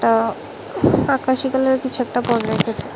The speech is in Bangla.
আঃ আকাশী কালারের কিছু একটা পড়ে রেখেছে।